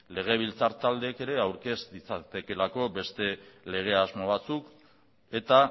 legebiltzar taldeek ere aurkez ditzaketelako beste lege asmo batzuk eta